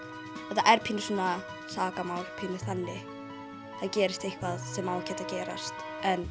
þetta er pínu svona sakamál pínu þannig það gerist eitthvað sem á ekkert að gerast